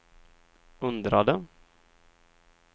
undrade